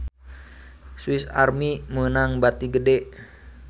Swis Army meunang bati gede